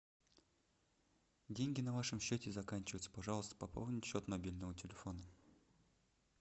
деньги на вашем счете заканчиваются пожалуйста пополните счет мобильного телефона